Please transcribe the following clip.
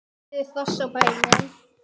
Einnig eru hross á bænum.